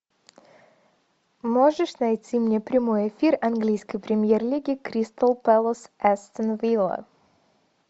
можешь найти мне прямой эфир английской премьер лиги кристал пэлас астон вилла